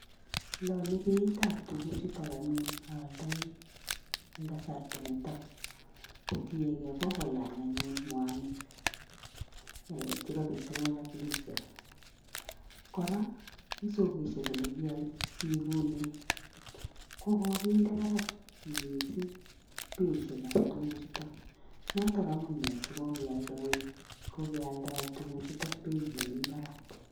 Lanyei beitab tukuchukak anyun aaldoi, eng kasarta nitok. Kotiegei kokolany anyun mwanik chebo peterol ak diesel. Kora eng sokeshek olekiipune kokokinde barak mising beishekap tukuchutok. Notok amune sikokealdae tukuchutok beit nemi barak.